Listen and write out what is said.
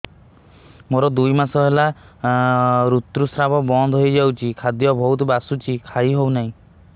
ମୋର ଦୁଇ ମାସ ହେଲା ଋତୁ ସ୍ରାବ ବନ୍ଦ ହେଇଯାଇଛି ଖାଦ୍ୟ ବହୁତ ବାସୁଛି ଖାଇ ହଉ ନାହିଁ